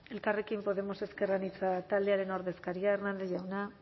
elkarrekin podemos ezker anitza taldearen ordezkaria hernández jauna